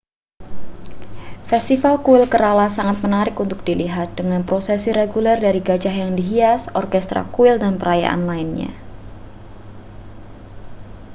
festival kuil kerala sangat menarik untuk dilihat dengan prosesi reguler dari gajah yang dihias orkestra kuil dan perayaan lainnya